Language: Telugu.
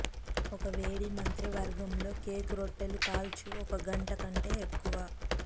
ఒక వేడి మంత్రివర్గంలో కేక్ రొట్టెలుకాల్చు ఒక గంట కంటే ఎక్కువ